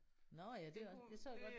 Nåh ja det kunne det så jeg godt